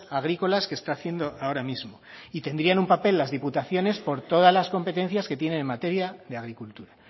agrícolas que está haciendo ahora mismo y tendrían un papel las diputaciones por todas las competencias que tienen en materia de agricultura